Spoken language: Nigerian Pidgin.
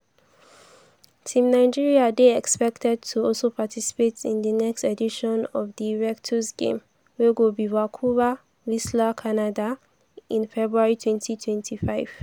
team nigeria dey expected to also participate in di next edition of di invictus games wey go be for vancouver-whistler canada in february 2025.